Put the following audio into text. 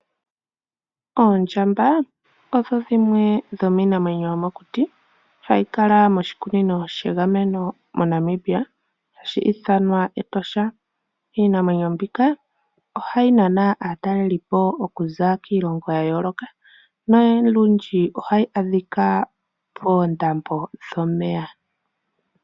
Oondjamba odho dhimwe dhomiinamwenyo yomokuti hayi kala moshikunino shegameno moNamibia hashi ithanwa Etosha. Iinamwenyo mbika ohayi nana aatalelipo oku za kiilongo ya yooloka nolundji ohayi adhika poondambo dhomeya.